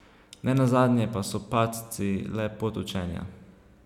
Ne nazadnje pa so padci le pot učenja.